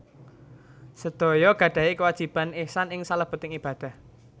Sedaya gadahi kéwajiban ihsan ing salèbéting ibadah